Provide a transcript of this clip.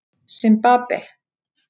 Simbabve